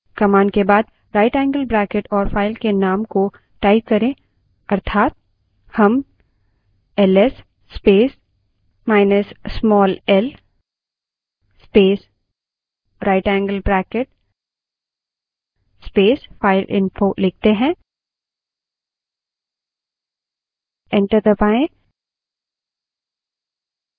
command के बाद right angle bracket और file के name को type करें अर्थात हम ls space minus small l space right angle bracket space fileinfo लिखते हैं